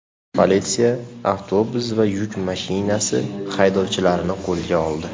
Politsiya avtobus va yuk mashinasi haydovchilarini qo‘lga oldi.